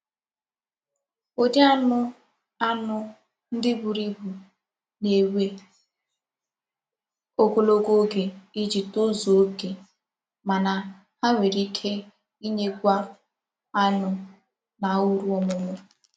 Ụdị anụ anụ ndị buru ibu na-ewe ogologo oge iji tozuo okè mana ha nwere ike inyekwu anụ na uru ọmụmụ